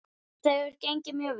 Þetta hefur gengið mjög vel.